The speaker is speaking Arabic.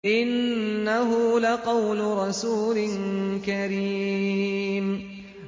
إِنَّهُ لَقَوْلُ رَسُولٍ كَرِيمٍ